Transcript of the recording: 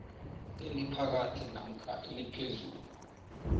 eliphakathi namkha eliphezulu